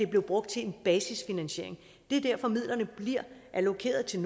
blev brugt til en basisfinansiering det er derfor midlerne bliver allokeret til